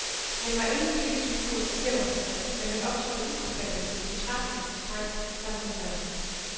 Han var ingen politisk figur i snæver forstand, men han optrådte uforfærdet som en utrættelig og streng samfundsrevser.